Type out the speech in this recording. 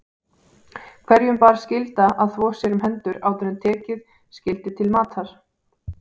Hverjum bar skylda að þvo sér um hendur áður en tekið skyldi til matar.